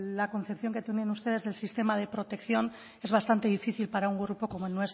la concepción que tienen ustedes del sistema de protección es bastante difícil para un grupo como el